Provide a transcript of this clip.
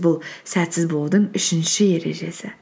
бұл сәтсіз болудың үшінші ережесі